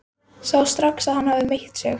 Sá strax að hann hafði meitt sig.